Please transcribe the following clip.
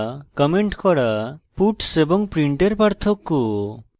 commenting করা puts এবং print এর পার্থক্য